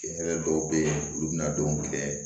Hɛrɛ dɔw bɛ yen olu bɛna don kɛ